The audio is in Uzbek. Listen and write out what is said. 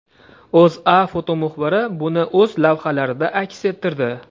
O‘zA fotomuxbiri buni o‘z lavhalarida aks ettirdi .